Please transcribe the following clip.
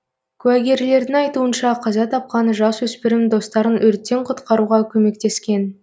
куәгерлердің айтуынша қаза тапқан жасөспірім достарын өрттен құтқаруға көмектескен